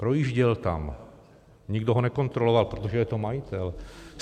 Projížděl tam, nikdo ho nekontroloval, protože je to majitel.